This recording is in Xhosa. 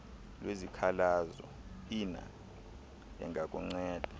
lwezikhalazo iner engakunceda